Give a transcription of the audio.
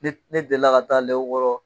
Ne deli la ka taa lɛw yɔrɔ.